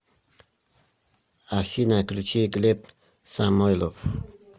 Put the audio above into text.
афина включи глеб самойлов